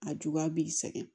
A juguya b'i sɛgɛn